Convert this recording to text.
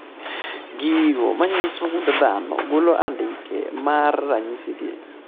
Gigo manyiso gund dhano golo andike mar ranyisi gi